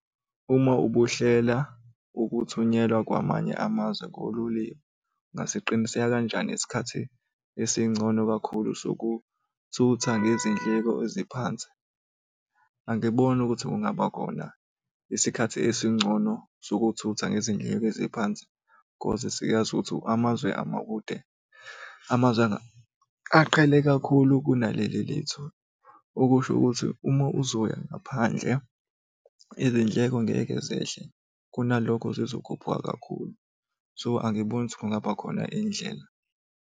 Uma ubuhlela ukuthunyelwa kwamanye amazwe ngololiwe ungasiqiniseka kanjani isikhathi esingcono kakhulu sokuthutha nezindleko eziphansi? Angiboni ukuthi kungaba khona isikhathi esingcono sokuthutha ngezindleko eziphansi, cause siyazi ukuthi amazwe amakude, amazwe aqhele kakhulu kunalelo lethu. Okusho ukuthi uma uzoya ngaphandle, izindleko ngeke zehle kunalokho zizokhuphuka kakhulu. So, angiboni ukuthi kungaba khona indlela.